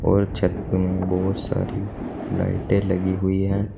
और छत में बहुत सारी लाइटें लगी हुई हैं।